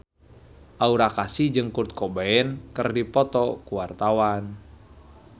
Aura Kasih jeung Kurt Cobain keur dipoto ku wartawan